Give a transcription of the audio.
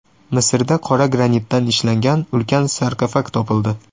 Misrda qora granitdan ishlangan ulkan sarkofag topildi.